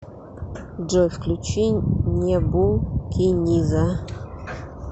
джой включи небу киниза